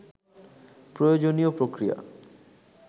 প্রয়োজনীয় প্রক্রিয়া